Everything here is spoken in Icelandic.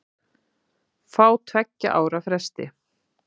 Fá tveggja ára frest